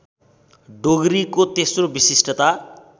डोगरीको तेस्रो विशिष्टता